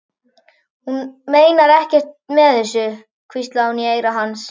Hún meinar ekkert með þessu, hvíslaði hún í eyra hans.